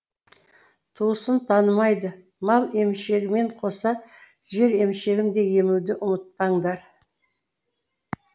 туысын танымайды мал емшегімен қоса жер емшегін де емуді ұмытпаңдар